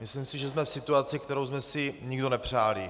Myslím si, že jsme v situaci, kterou jsme si nikdo nepřáli.